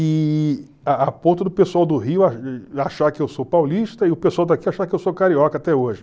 E a a ponto do pessoal do Rio a achar que eu sou paulista e o pessoal daqui achar que eu sou carioca até hoje.